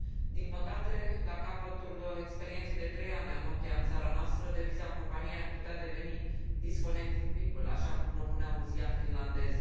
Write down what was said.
Din păcate, la capătul experienței de trei ani a Nokia în țara noastră, deviza companiei ar putea deveni Disconnecting People, așa cum propunea un ziar finlandez.